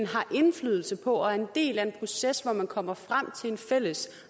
har indflydelse på og er en del af en proces hvor man kommer frem til en fælles